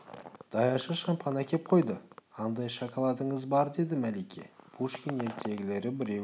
даяшы шампан әкеп қойды андай шоколадыңыз бар деді мәлике - пушкин ертегілері біреуін